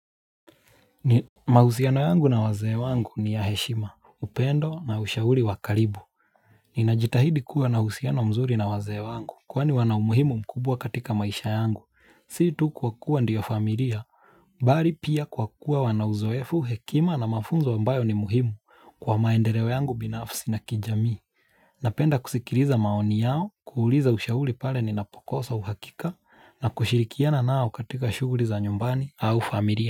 Mahusiano yangu na wazee wangu ni ya heshima, upendo na ushauri wa karibu ninajitahidi kuwa na uhusiano mzuri na wazee wangu, kwani wana umuhimu mkubwa katika maisha yangu, sio tu kwa kuwa ndio familia Bali pia kwa kuwa wana uzoefu hekima na mafunzo ambayo ni muhimu kwa maendeleo yangu binafsi na kijamii Napenda kusikiliza maoni yao, kuuliza ushauri pale ni napokosa uhakika na kushirikiana nao katika shughuli za nyumbani au familia.